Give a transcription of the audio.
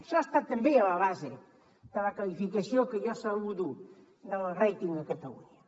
això està també a la base de la qualificació que jo saludo del rating a catalunya